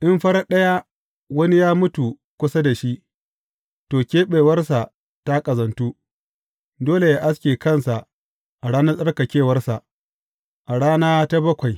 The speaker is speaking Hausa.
In farat ɗaya wani ya mutu kusa da shi, to, keɓewarsa ta ƙazantu, dole yă aske kansa a ranar tsarkakewarsa, a rana ta bakwai.